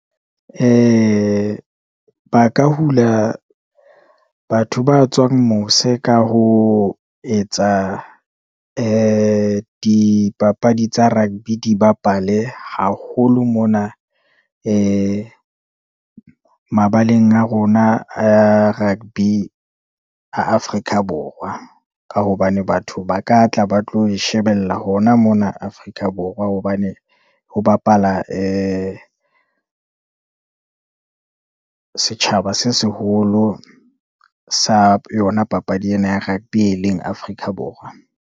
Ba ka hula batho ba tswang mose, ka ho etsa di dipapadi tsa rugby, di bapale haholo mona, mabaleng a rona a rugby a Afrika Borwa, ka hobane batho ba ka tla ba tlo e shebella hona mona Afrika Borwa, hobane ho bapala setjhaba se seholo sa yona papadi ena ya rugby, e leng Afrika Borwa.